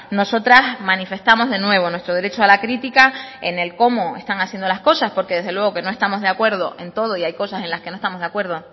nosotras manifestamos de nuevo nuestro derecho a la crítica en el cómo están haciendo las cosas porque desde luego no estamos de acuerdo en todo y hay cosas en las que no estamos de acuerdo